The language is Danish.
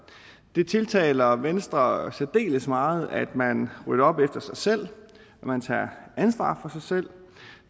det tiltaler venstre særdeles meget at man rydder op efter sig selv at man tager ansvar for sig selv